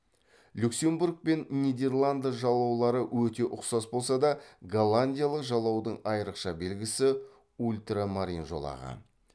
люксембург пен нидерланды жалаулары өте ұқсас болса да голландиялық жалаудың айырықша белгісі ультрамарин жолағы